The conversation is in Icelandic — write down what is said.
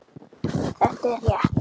Þetta er rétt.